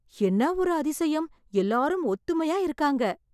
என்ன ஒரு அதிசயம், எல்லாரும் ஒத்துமையா இருக்காங்க.